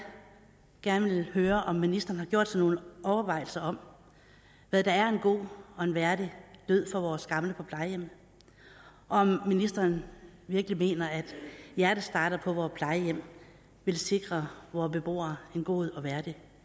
gerne vil høre om ministeren har gjort sig nogle overvejelser om hvad der er en god og værdig død for vores gamle på plejehjemmet og om ministeren virkelig mener at hjertestartere på vore plejehjem vil sikre vore beboere en god og værdig